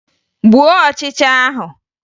Gbuo ọchịcha ahụ!